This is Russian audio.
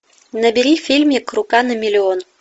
набери фильмик рука на миллион